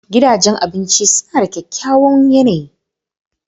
Gidajen abinci suna da kyakkyawan yanayi.